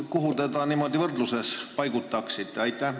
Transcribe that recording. Kuhu te selle võrdluses paigutaksite?